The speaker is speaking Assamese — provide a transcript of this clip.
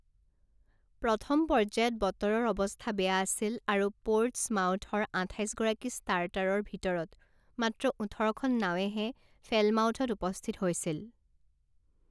প্ৰথম পৰ্য্যায়ত বতৰৰ অৱস্থা বেয়া আছিল আৰু পৰ্টছমাউথৰ আঠাইছ গৰাকী ষ্টাৰ্টাৰৰ ভিতৰত মাত্ৰ ওঠৰখন নাৱেহে ফেলমাউথত উপস্থিত হৈছিল।